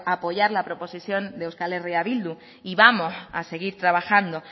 apoyar la proposición de eh bildu y vamos a seguir trabajando